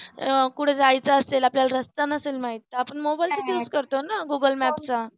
अह कुठ जायचं असेल आपल्याला रस्ता नसेल माहित तर आपण मोबाईलचाच use करतो ना